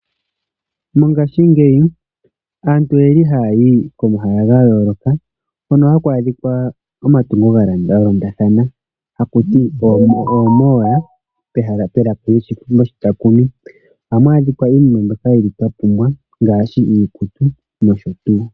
Mongashingeyi aantu oye li haya yi komahala ga yooloka hono haku adhika omatungo ga londathana haku ti "oomall" melaka lyoshitakumi. Ohamu adhika iinima mbyoka tu li twa pumbwa ngaashi iikutu nosho tuu.